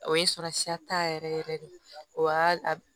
O ye sɔrɔsiya ta yɛrɛ yɛrɛ yɛrɛ de o y'a